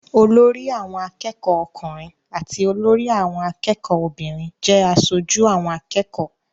Olórí àwọn akẹ́kọ̀ọ́ ọkùnrin àti olórí àwọn akẹ́kọ̀ọ́ obìnrin jẹ́ aṣojú àwọn akẹ́kọ̀ọ́.